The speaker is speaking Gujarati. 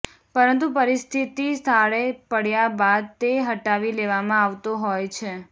પરંતુ પરિસ્થિતિ થાળે પડ્યા બાદ તે હટાવી લેવામાં આવતો હોય છે